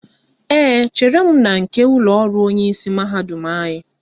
Ee, chere m na nke ụlọọrụ onyeisi mahadum anyị